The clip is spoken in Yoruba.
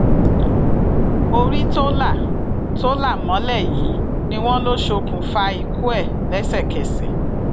orí tó là tó là mọlẹ yìí ni wọn lọ ṣokùnfà ikú ẹ lẹsẹkẹsẹ